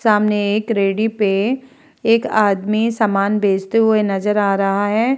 सामने एक रेड़ी पे एक आदमी सामान बेचते हुए नजर आ रहा है।